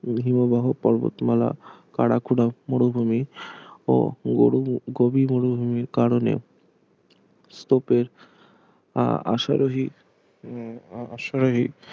হিমবাহ পর্বতমালা কারাকোরাম মরুভূমি ও গোবি গোবি মরুভূমির কারণে স্তূপের আহ আশারোহি উম আশারোহি